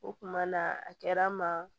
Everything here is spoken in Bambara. O kuma na a kɛra n ma